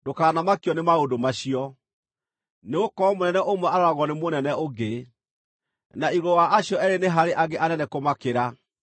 ndũkanamakio nĩ maũndũ macio; nĩgũkorwo mũnene ũmwe aroragwo nĩ mũnene ũngĩ, na igũrũ wa acio eerĩ nĩ harĩ angĩ anene kũmakĩra.